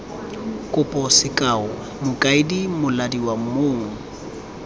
kopo sekao mokaedi molaodi mong